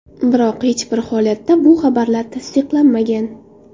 Biroq hech bir holatda bu xabarlar tasdiqlanmagan.